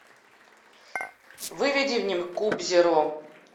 выведи мне куб зеро